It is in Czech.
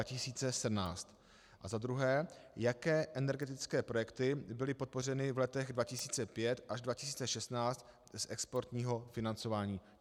A za druhé, jaké energetické projekty byly podpořeny v letech 2005 až 2016 z exportního financování.